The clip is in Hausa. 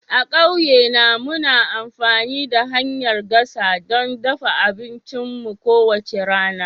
A ƙauyena, muna amfani da hanyar gasa don dafa abincinmu kowace rana.